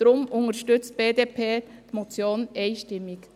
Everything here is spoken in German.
Deshalb unterstützt die BDP die Motion einstimmig.